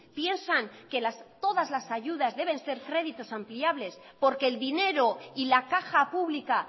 piensan que todas las ayudas deben ser créditos ampliables porque el dinero y la caja pública